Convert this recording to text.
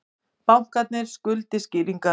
Bankarnir skuldi skýringar